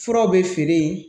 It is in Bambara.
Furaw bɛ feere yen